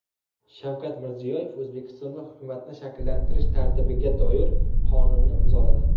Shavkat Mirziyoyev O‘zbekistonda hukumatni shakllantirish tartibiga doir qonunni imzoladi.